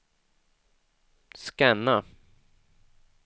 scanna